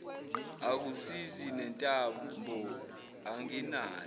akusizi nentambo anginayo